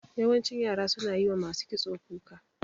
Yawancin yara suna yi wa masu kitso kuka.